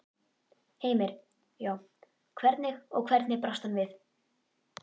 Heimir: Já, hvernig, og hvernig brást hann við?